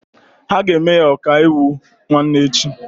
Ha ga-eme ya ọkaiwu nwanne echi.